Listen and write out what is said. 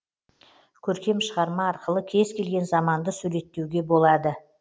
көркем шығарма арқылы кез келген заманды суреттеуге болады